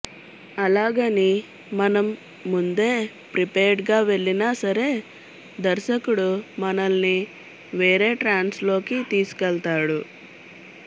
అలాగని మనం ముందే ప్రిపేర్డ్గా వెళ్లినా సరే దర్శకుడు మనల్ని వేరే ట్రాన్స్లోకి తీసుకెళ్తాడు